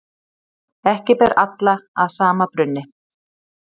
Ekki ber alla að sama brunni.